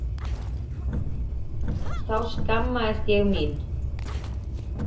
Þá skammaðist ég mín.